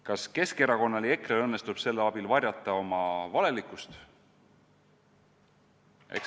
Kas Keskerakonnal ja EKRE-l õnnestub selle abil varjata oma valelikkust?